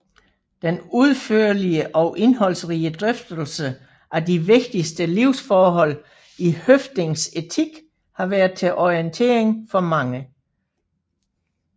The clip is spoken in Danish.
Den udførlige og indholdsrige drøftelse af de vigtigste livsforhold i Høffdings etik har været til orientering for mange